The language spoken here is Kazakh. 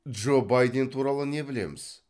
джо байден туралы не білеміз